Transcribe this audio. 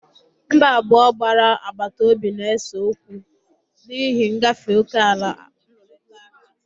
Mba abụọ gbara agbata obi na-ese okwu n'okwu n'ihi ngafe oke ala arụrịtara ụka.